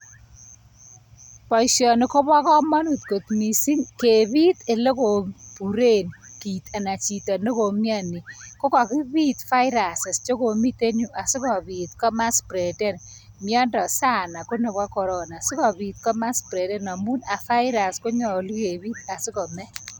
Boishoni kobo komonut kot missing kebiit, ele kokiburen bik anan chito nekomioni. Ko kakibiit viruses (cs,)chekomiten asikobiit komaletagee miondoo sanna koneboo Corona. Sikobiiit ko maletage amun a virus' konyolu kebiit asikobit kobet.